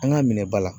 An ka minɛ ba la